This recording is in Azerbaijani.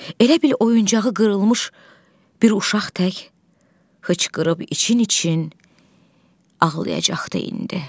Elə bil oyuncağı qırılmış bir uşaq tək hıçqırıb için-için ağlayacaqdı indi.